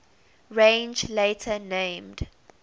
range later named